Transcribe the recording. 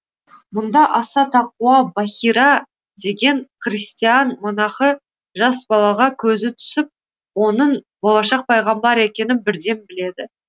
мұнда аса тақуа бахира деген христиан монахы жас балаға көзі түсіп оның болашақ пайғамбар екенін бірден біледі